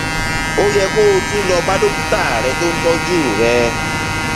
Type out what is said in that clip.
ó yẹ kó o tún lọ bá dókítà rẹ tó ń tọjú rẹ